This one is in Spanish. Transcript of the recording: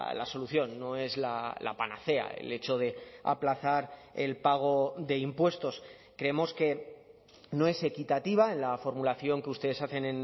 la solución no es la panacea el hecho de aplazar el pago de impuestos creemos que no es equitativa en la formulación que ustedes hacen